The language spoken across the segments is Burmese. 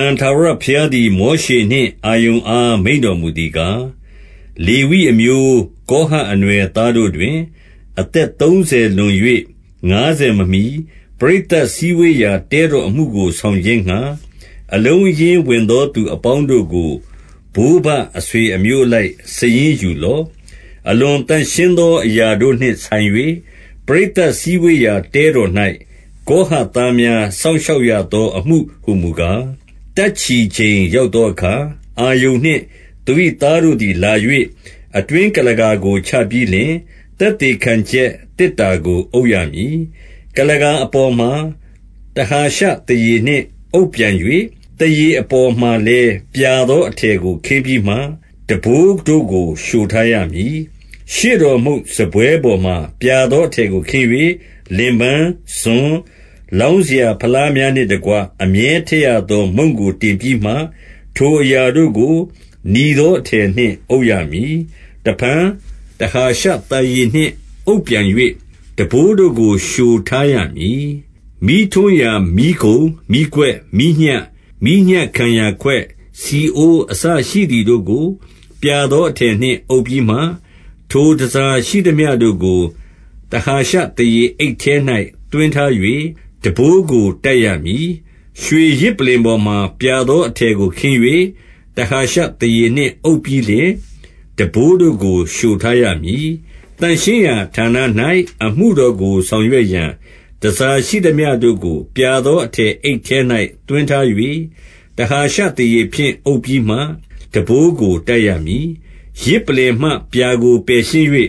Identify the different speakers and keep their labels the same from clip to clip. Speaker 1: န် ထာဝရဘုရားသည် မောရှေနှင့် အာရုန်အားမိန့်တော်မူသည်ကား၊ 2-3လေဝိအမျိုး၊ ကောဟတ်အနွယ်သားတို့တွင် အသက်သုံးဆယ်လွန်၍ ငါးဆယ်မမီ၊ ပရိသတ်စည်းဝေးရာ တဲတော်အမှုကိုဆောင်ခြင်းငှာ၊ အလုံးအရင်းဝင်သောသူအပေါင်းတို့ကို၊ ဘိုးဘအဆွေအမျိုးအလိုက် စာရင်းယူလော့။ 4အလွန်သန့်ရှင်းသောအရာတို့နှင့်ဆိုင်၍ ပရိသတ်စည်းဝေးရာတဲတော်၌ ကောဟတ်သားများ စောင့်ရှောက်ရသောအမှုဟူမူကား၊ 5တပ်ချီချိန်ရောက်သောအခါ၊ အာရုန်နှင့် သူ၏သားတို့သည်လာ၍၊ အတွင်းကုလားကာကိုချပြီးလျှင်၊ သက်သေခံချက်သေတ္တာကို အုပ်ရမည်။ 6ကုလားကာအပေါ်မှာ တဟာရှသားရေနှင့် အုပ်ပြန်၍ သားရေအပေါ်မှာလည်း ပြာသောအထည်ကိုခင်းပြီးမှ၊ ထမ်းပိုးတို့ကိုလျှိုထားရမည်။ 7ရှေ့တော်မုန့်စားပွဲပေါ်မှာ ပြာသောအထည်ကိုခင်း၍၊ လင်ပန်း၊ ဇွန်း၊ လောင်းစရာဖလားများနှင့်တကွ၊ အမြဲထည့်ရသောမုန့်ကိုတင်ပြီးမှ၊ 8ထိုအရာတို့ကို၊ နီသောအထည်နှင့် အုပ်ရမည်။ တစ်ဖန် တဟာရှသားရေနှင့်အုပ်ပြန်၍ ထမ်းပိုးတို့ကိုလျှိုထားရမည်။ 9မီးထွန်းရာ မီးခုံ၊ မီးခွက်၊ မီးညှပ်၊ မီးညှပ်ခံရာခွက်၊ ဆီအိုးအစရှိသည်တို့ကို ပြာသောအထည်နှင့်အုပ်ပြီးမှ၊ 10ထိုတန်ဆာရှိသမျှတို့ကို၊ တဟာရှသားရေအိတ်ထဲ၌သွင်းထား၍၊ ထမ်းပိုးကိုတပ်ရမည်။ 11ရွှေယဇ်ပလ္လင်ပေါ်မှာ ပြာသောအထည်ကိုခင်း၍၊ တဟာရှသားရေနှင့်အုပ်ပြီးလျှင်၊ ထမ်းပိုးတို့ကိုလျှိုထားရမည်။ 12သန့်ရှင်းရာဌာန၌ အမှုတော်ကိုဆောင်ရွက်ရန် တန်ဆာရှိသမျှတို့ကို ပြာသောအထည်အိတ်ထဲ၌ သွင်းထား၍၊ တဟာရှသားရေဖြင့်အုပ်ပြီးမှ ထမ်းပိုးကိုတပ်ရမည်။ 13ယဇ်ပလ္လင်မှပြာကိုပယ်ရှင်း၍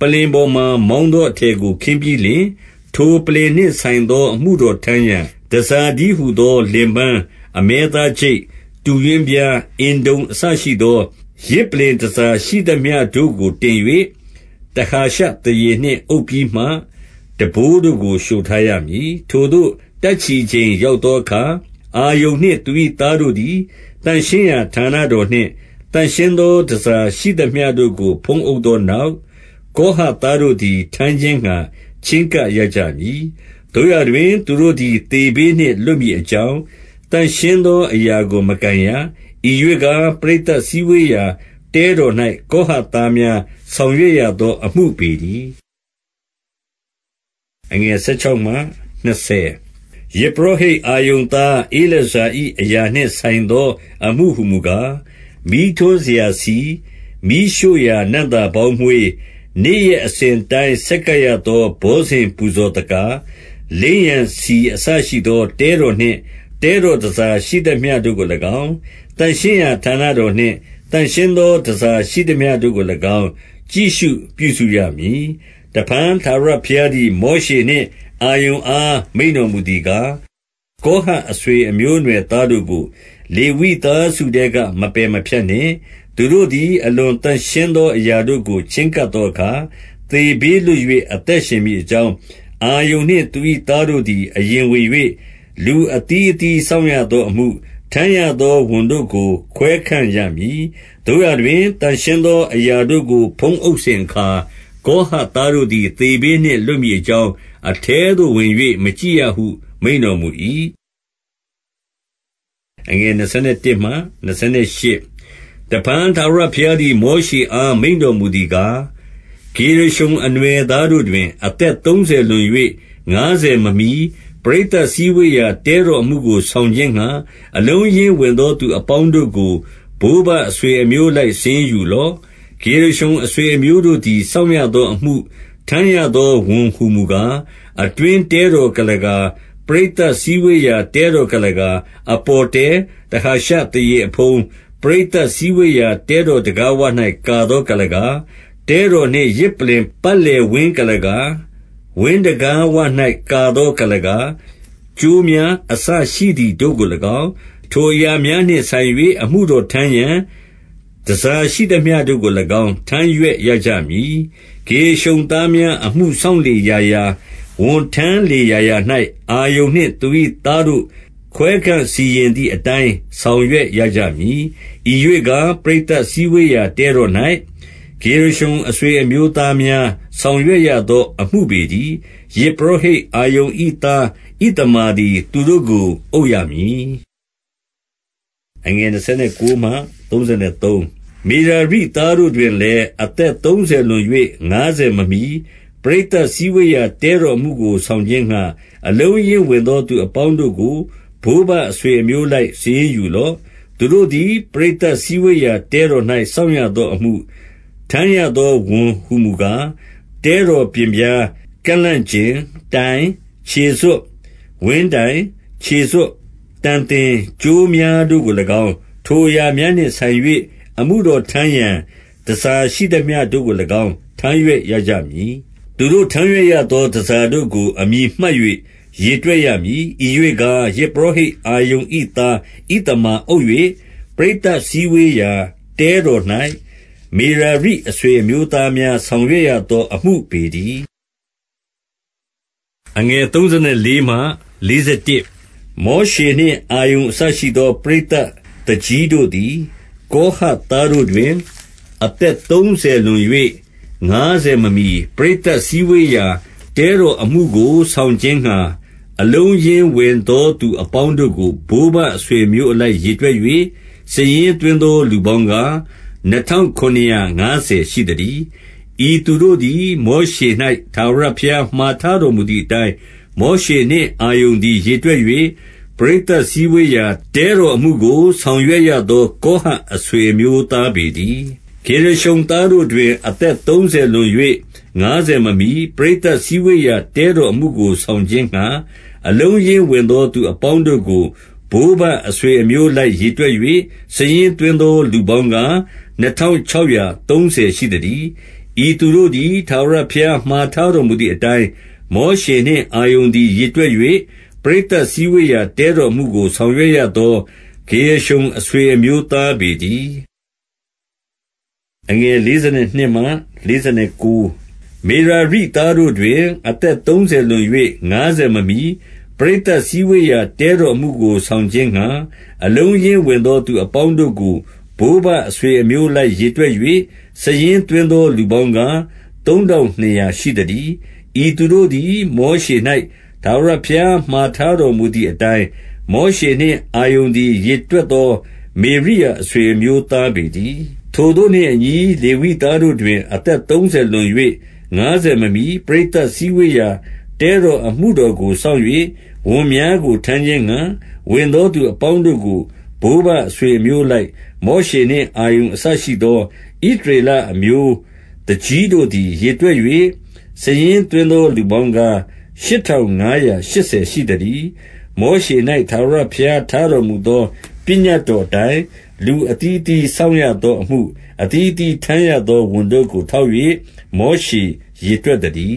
Speaker 1: ပလ္လင်ပေါ်မှာ မောင်းသောအထည်ကို ခင်းပြီးလျှင်၊ 14ထိုပလ္လင်နှင့်ဆိုင်သော အမှုတော်ထမ်းရန် တန်ဆာတည်းဟူသောလင်ပန်း၊ အမဲသားချိတ်၊ တူးရွင်းပြား၊ အင်တုံအစရှိသော ယဇ်ပလ္လင်တန်ဆာရှိသမျှတို့ကို တင်၍၊ တဟာရှသားရေနှင့်အုပ်ပြီးမှ ထမ်းပိုးတို့ကိုလျှိုထားရမည်။ 15ထိုသို့တပ်ချီချိန်ရောက်သောအခါ အာရုန်နှင့်သူ၏သားတို့သည် သန့်ရှင်းရာဌာနတော်နှင့် သန့်ရှင်းသောတန်ဆာရှိသမျှတို့ကို ဖုံးအုပ်သောနောက်၊ ကောဟတ်သားတို့သည် ထမ်းခြင်းငှာချဉ်းကပ်ရကြမည်။ သို့ရာတွင် သူတို့သည် သေဘေးနှင့်လွတ်မည်အကြောင်း သန့်ရှင်းသောအရာကိုမကိုင်ရ၊ ဤရွေ့ကား ပရိသတ်စည်းဝေးရာတဲတော်၌ ကောဟတ်သားများ ဆောင်ရွက်ရသောအမှုပေတည်း။ 16ယဇ်ပုရောဟိတ်အာရုန်သား ဧလာဇာ၏အရာနှင့်ဆိုင်သော အမှုဟူမူကား၊ မီးထွန်းစရာ မီးရှို့ရာနံ့သာပေါင်းမွှေး၊ နေ့ရက်အစဉ်အတိုင်းဆက်ကပ်ရသော ဘောဇဉ်ပူဇော်သကာ၊ လိမ်းရန်ဆီ အစရှိသောတဲတော်နှင့် တဲတော်တန်ဆာရှိသမျှတို့ကိုလည်းကောင်း၊ သန့်ရှင်းရာဌာနတော်နှင့် သန့်ရှင်းသော တန်ဆာရှိသမျှတို့ကိုလည်းကောင်း ကြည့်ရှုပြုစုရမည်။ 17တစ်ဖန်ထာဝရဘုရားသည် မောရှေနှင့် အာရုန်အားမိန့်တော်မူသည်ကား၊ 18ကောဟတ်အဆွေအမျိုးအနွယ်သားတို့ကို လေဝိသားစုထဲက မပယ်မဖြတ်နှင့်။ 19သူတို့သည် အလွန်သန့်ရှင်းသောအရာတို့ကို ချဉ်းကပ်သောအခါ သေဘေးလွတ်၍ အသက်ရှင်မည်ဖြစ်ကြောင်း အာရုန်နှင့် သူ၏သားတို့သည် အရင်ဝင်၍ လူအသီးအသီးစောင့်ရသောအမှု၊ ထမ်းရသောဝန်တို့ကိုခွဲခန့်ရမည်။ 20သို့ရာတွင် သန့်ရှင်းသောအရာတို့ကိုဖုံးအုပ်စဉ်အခါ ကောဟတ်သားတို့သည် သေဘေးနှင့်လွတ်မည်အကြောင်း၊ အထဲသို့ဝင်၍မကြည့်ရဟု မိန့်တော်မူ၏။ ဂေရရှုန်အနွယ်၏တာ၀န် 21တစ်ဖန်ထာဝရဘုရားသည် မောရှေအားမိန့်တော်မူသည်ကား၊ 22-23ဂေရရှုန်အနွယ်သားတို့တွင်၊ အသက်သုံးဆယ်လွန်၍ငါးဆယ်မမီ၊ ပရိသတ်စည်းဝေးရာတဲတော်အမှုကို ဆောင်ခြင်းငှာ အလုံးအရင်းဝင်သော သူအပေါင်းတို့ကို၊ ဘိုးဘအဆွေအမျိုးအလိုက် စာရင်းယူလော့။ 24ဂေရရှုန်အဆွေအမျိုးတို့သည် စောင့်ရသောအမှု၊ ထမ်းရသောဝန်ဟူမူကား၊ 25အတွင်းတဲတော်ကုလားကာ၊ ပရိသတ်စည်းဝေးရာ တဲတော်ကုလားကာ၊ အပေါ်တဲ၊ တဟာရှသားရေအဖုံး၊ ပရိသတ်စည်းဝေးရာတဲတော် တံခါးဝ၌ကာသောကုလားကာ၊ 26တဲတော်နှင့် ယဇ်ပလ္လင်ပတ်လည်ဝင်းကုလားကာ၊ ဝင်းတံခါးဝ၌ကာသော ကုလားကာ၊ ကြိုးများအစရှိသည်တို့ကိုလည်းကောင်း၊ ထိုအရာများနှင့်ဆိုင်၍ အမှုတော်ထမ်းရန် တန်ဆာရှိသမျှတို့ကိုလည်းကောင်း ထမ်းရွက်ရကြမည်။ 27ဂေရရှုန်သားများအမှုစောင့်လေရာရာ၊ ဝန်ထမ်းလေရာရာ၌၊ အာရုန်နှင့်သူ၏သားတို့ ခွဲခန့်စီရင်သည်အတိုင်း ဆောင်ရွက်ရကြမည်။ 28ဤရွေ့ကား ပရိသတ်စည်းဝေးရာတဲတော်၌ ဂေရရှုန်အဆွေအမျိုးသားများ ဆောင်ရွက်ရသောအမှုပေတည်း။ ယဇ်ပုရောဟိတ်အာရုန်၏သား ဣသမာသည် သူတို့ကိုအုပ်ရမည်။ မေရာရိသားတို့၏တာ၀န် 29-30မေရာရိသားတို့တွင်လည်း၊ အသက်သုံးဆယ်လွန်၍ ငါးဆယ်မမီ၊ ပရိသတ်စည်းဝေးရာ တဲတော်အမှုကိုဆောင်ခြင်းငှာ၊ အလုံးအရင်းဝင်သောသူ အပေါင်းတို့ကို ဘိုးဘအဆွေအမျိုးအလိုက် စာရင်းယူလော့။ 31သူတို့သည် ပရိသတ်စည်းဝေးရာတဲတော်၌ စောင့်ရသောအမှု၊ ထမ်းရသောဝန်ဟူမူကား၊ တဲတော်ပျဉ်ပြား၊ ကန့်လန့်ကျင်၊ တိုင်၊ ခြေစွပ်၊ 32ဝင်းတိုင်၊ ခြေစွပ်တံသင်၊ ကြိုးများတို့ကိုလည်းကောင်း ထိုအရာများနှင့်ဆိုင်၍ အမှုတော်ထမ်းရန် တန်ဆာရှိသမျှတို့ကိုလည်းကောင်း ထမ်းရွက်ရကြမည်။ သူတို့ထမ်းရွက်ရသောတန်ဆာတို့ကို အမည်မှတ်၍ရေတွက်ရမည်။ 33ဤရွေ့ကား ယဇ်ပုရောဟိတ်အာရုန်၏သား ဣသမာအုပ်၍၊ ပရိသတ်အစည်းဝေးရာတဲတော်၌ မေရာရိအဆွေအမျိုးသားများ ဆောင်ရွက်ရသော အမှုပေတည်း။ လေဝိအနွယ်၏လူဦးရေ 34-36မောရှေနှင့်အာရုန် အစရှိသောပရိသတ်သူကြီးတို့သည် ကောဟတ်သားတို့တွင် အသက်သုံးဆယ်လွန်၍ ငါးဆယ်မမီ၊ ပရိသတ်စည်းဝေးရာ တဲတော်အမှုကိုဆောင်ခြင်းငှာ၊ အလုံးအရင်းဝင်သောသူ အပေါင်းတို့ကို၊ ဘိုးဘ အဆွေအမျိုးအလိုက်ရေတွက်၍ စာရင်းသွင်းသောလူပေါင်းကား၊ နှစ်ထောင်ခုနစ်ရာငါးဆယ် ရှိသတည်း။ 37ဤသူတို့သည်မောရှေ၌ ထာဝရဘုရားမှာထားတော်မူသည်အတိုင်း မောရှေနှင့်အာရုန်သည်ရေတွက်၍ ပရိသတ်စည်းဝေးရာတဲတော်အမှုကို ဆောင်ရွက်ရသော ကောဟတ်အဆွေအမျိုးသားပေတည်း။ 38-40ဂေရရှုန်သားတို့တွင် အသက်သုံးဆယ်လွန်၍ ငါးဆယ်မမီ၊ ပရိသတ်စည်းဝေးရာ တဲတော်အမှုကိုဆောင်ခြင်းငှာ၊ အလုံးအရင်းဝင်သောသူအပေါင်းတို့ကို ဘိုးဘအဆွေအမျိုးအလိုက်ရေတွက်၍ စာရင်းသွင်းသောလူပေါင်းကား နှစ်ထောင်ခြောက်ရာသုံးဆယ်ရှိသတည်း။ 41ဤသူတို့သည် ထာဝရဘုရားမှာထားတော်မူသည်အတိုင်း၊ မောရှေနှင့် အာရုန်သည်ရေတွက်၍ ပရိသတ်စည်းဝေးရာတဲတော်အမှုကို ဆောင်ရွက်နေရသော ဂေရရှုန်အဆွေအမျိုးသားပေတည်း။ 42-44မေရာရိသားတို့တွင် အသက်သုံးဆယ်လွန်၍ ငါးဆယ်မမီ၊ ပရိသတ်စည်းဝေးရာ တဲတော်အမှုကိုဆောင်ခြင်းငှာ၊ အလုံးအရင်းဝင်သော သူအပေါင်းတို့ကို ဘိုးဘအဆွေအမျိုးအလိုက်ရေတွက်၍ စာရင်းသွင်းသောလူပေါင်းကား သုံးထောင်နှစ်ရာ ရှိသတည်း။ 45ဤသူတို့သည် မောရှေ၌ ထာဝရဘုရားမှာထားတော်မူသည်အတိုင်း မောရှေနှင့်အာရုန်သည် ရေတွက်သော မေရာရိအဆွေအမျိုးသားပေတည်း။ 46-48ထိုသို့နှင့်အညီ၊ လေဝိသားတို့တွင် အသက်သုံးဆယ်လွန်၍ ငါးဆယ်မမီ၊ ပရိသတ်စည်းဝေးရာ တဲတော်အမှုတော်ကိုစောင့်၍ ဝန်များကိုထမ်းခြင်းငှာ ဝင်သောသူအပေါင်းတို့ကို၊ ဘိုးဘအဆွေအမျိုးအလိုက် မောရှေနှင့်အာရုန် အစရှိသောဣသရေလအမျိုး သူကြီးတို့သည်ရေတွက်၍ စာရင်းသွင်းသောလူပေါင်းကား ရှစ်ထောင်ငါးရာရှစ်ဆယ် ရှိသတည်း။ 49မောရှေ၌ထာဝရဘုရားထားတော်မူသော ပညတ်တော်အတိုင်း လူအသီးအသီးစောင့်ရသောအမှု၊ အသီးအသီးထမ်းရသောဝန်တို့ကို ထောက်၍ မောရှေရေတွက်သတည်